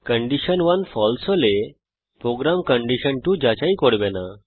condition 1 ফালসে হলে programme condition 2 যাচাই করবে না